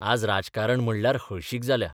आज राजकारण म्हणल्यार हळशीक जाल्या.